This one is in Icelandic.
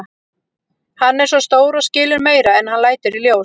Hann er svo stór og skilur meira en hann lætur í ljós.